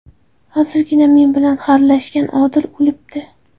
Hozirgina men bilan xarlashgan Odil o‘libdi.